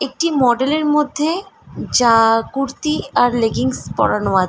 একটি মডেল এর মধ্যে যা-আ কুর্তি আর লেগিন্স পড়ানো আ--